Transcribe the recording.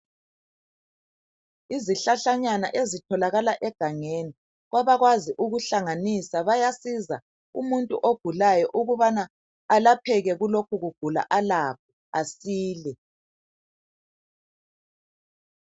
Isihlahlanyana ezitholakala egangeni kwaba kwazi ukuhlanganisa bayasiza umuntu ogulayo ukubana alapheke kulokhu kugula alakho asile.